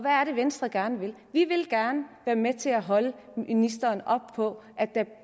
er det venstre gerne vil vi vil gerne være med til at holde ministeren op på at der